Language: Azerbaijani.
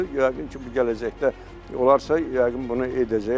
Yəqin ki, bu gələcəkdə olarsa, yəqin bunu edəcəklər.